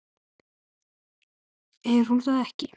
Er hún þá ekki.?